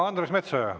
Andres Metsoja.